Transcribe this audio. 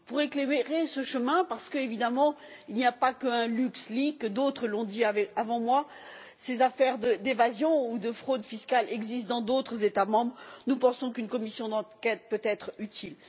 Pour éclairer ce chemin, parce qu'évidemment il n'y a pas qu'un LuxLeaks d'autres l'ont dit avant moi, ces affaires d'évasion ou de fraude fiscales existent dans d'autres États membres nous pensons qu'une commission d'enquête peut être utile.